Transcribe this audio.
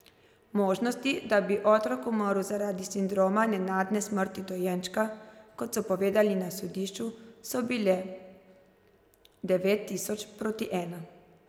Možnosti, da bi otrok umrl zaradi sindroma nenadne smrti dojenčka, kot so povedali na sodišču, so bile devet tisoč proti ena.